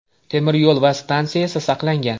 Temir yo‘l va stansiya esa saqlangan.